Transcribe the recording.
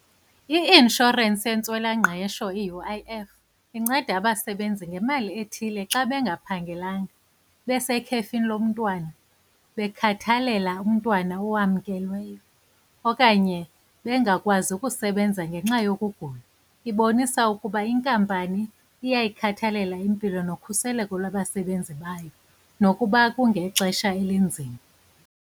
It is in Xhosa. I-inshorensi yentswelangqesho, iU_I_F inceda abasebenzi ngemali ethile xa bengaphangelanga, besekhefini lomntwana, bekhathalela umntwana owamkelweyo okanye bengakwazi ukusebenza ngenxa yokugula. Ibonisa ukuba inkampani iyayikhathalela impilo nokhuseleko lwabasebenzi bayo, nokuba kungexesha elinzima.